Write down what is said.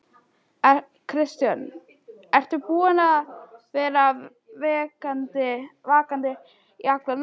Kristján: Ertu búinn að vera vakandi í alla nótt?